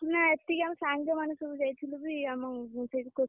ନା ଏତିକି ଆମ ସାଙ୍ଗମାନେ ସବୁ ଯାଇଥିଲୁ ବି ଆମ ସେଠି coaching ଛୁଆ ଯିଏ, ଅଳ୍ପ ଛୁଆଙ୍କୁ ନେଇକି ଯାଇଥିଲୁ।